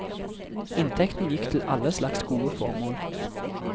Inntekten gikk til alle slags gode formål.